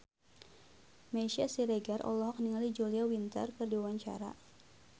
Meisya Siregar olohok ningali Julia Winter keur diwawancara